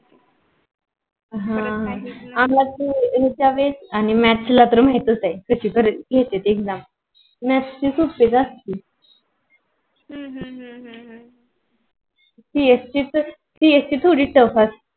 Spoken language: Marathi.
ह अह आमच्या वेळेस आम्हाला math ला तर महितस आहे कशी कशी घेते exam maths ची सोप्पीच असते हम्म हम्म हम्म CSE थोडी tuff असते.